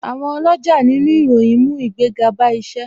Àwọn oloja nínú ìròyìn ń mú ìgbéga bá isẹ